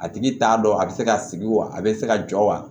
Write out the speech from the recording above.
A tigi t'a dɔn a bɛ se ka sigi wa a bɛ se ka jɔ wa